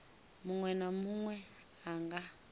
munwe na munwe a nga